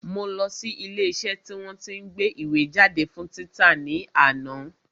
Mo lọ sí ilé iṣẹ́ tí wọ́n tí ń gbé ìwé jáde fún títa ní àná